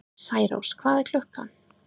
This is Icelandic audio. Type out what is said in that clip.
Særós, hvað er klukkan?